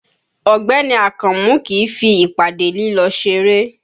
Ọ̀gbẹ́ni Akànmú kìí fi ìpàdé lílọ ṣeré